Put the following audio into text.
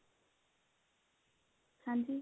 ਹਾਂਜੀ